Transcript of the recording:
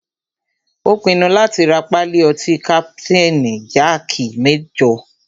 Ó pinnu láti rá pálí ọtí kapitain jaaki mẹ́jọ.